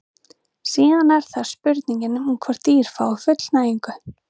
síðan er það spurningin um hvort dýr fái fullnægingu